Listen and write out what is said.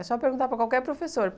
É só perguntar para qualquer professor.